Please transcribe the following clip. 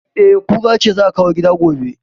E, kura ce za a kawo gida gobe